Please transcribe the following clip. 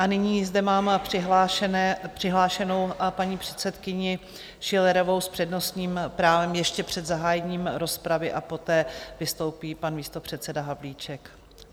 A nyní zde mám přihlášenou paní předsedkyni Schillerovou s přednostním právem ještě před zahájením rozpravy a poté vystoupí pan místopředseda Havlíček.